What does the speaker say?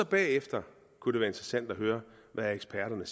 bagefter kunne det være interessant at høre hvad eksperterne